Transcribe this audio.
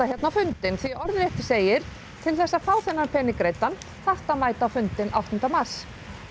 hérna á fundinn því orðrétt segir til þess að fá þennan pening greiddan þarftu að mæta á fundinn áttunda mars